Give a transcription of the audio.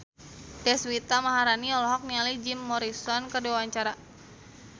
Deswita Maharani olohok ningali Jim Morrison keur diwawancara